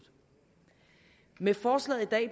med forslaget i dag